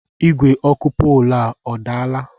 Igwe ọkụ polu a, ọ daala?